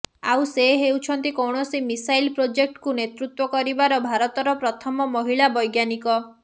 ଆଉ ସେ ହେଉଛନ୍ତି କୌଣସି ମିସାଇଲ୍ ପ୍ରୋଜେକ୍ଟକୁ ନେତୃତ୍ୱ କରିବାର ଭାରତର ପ୍ରଥମ ମହିଳା ବୈଜ୍ଞାନିକ